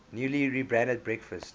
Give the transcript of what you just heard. newly rebranded breakfast